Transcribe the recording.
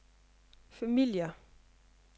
familier